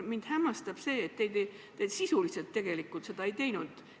Mind hämmastab, et te sisuliselt seda ei teinud.